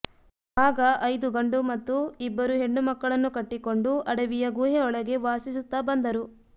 ಆಗ ಐದು ಗಂಡು ಮತ್ತು ಇಬ್ಬರು ಹೆಣ್ಣು ಮಕ್ಕಳನ್ನು ಕಟ್ಟಿಕೊಂಡು ಅಡವಿಯ ಗುಹೆಯೊಳಗೆ ವಾಸಿಸುತ್ತಾ ಬಂದರು